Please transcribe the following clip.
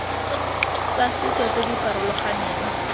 tsa setso tse di farologaneng